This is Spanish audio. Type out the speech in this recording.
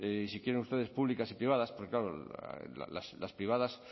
y si quieren ustedes públicas y privadas porque claro las privadas